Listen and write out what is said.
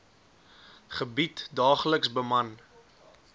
gebied daagliks beman